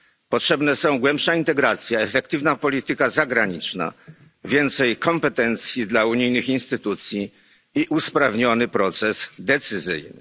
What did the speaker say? Potrzebne są głębsza integracja, efektywna polityka zagraniczna, więcej kompetencji dla unijnych instytucji i usprawniony proces decyzyjny.